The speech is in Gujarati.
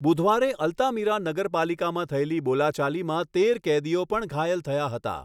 બુધવારે અલ્તામીરા નગરપાલિકામાં થયેલી બોલાચાલીમાં તેર કેદીઓ પણ ઘાયલ થયા હતા.